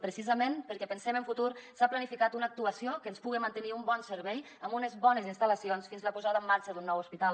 precisament perquè pensem en futur s’ha planificat una actuació que ens puga mantenir un bon servei amb unes bones instal·lacions fins a la posada en marxa d’un nou hospital